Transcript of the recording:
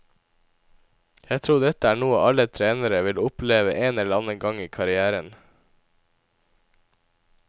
Jeg tror dette er noe alle trenere vil oppleve en eller annen gang i karrièren.